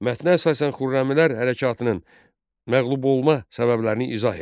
Mətnə əsasən Xürrəmilər hərəkatının məğlub olma səbəblərini izah et.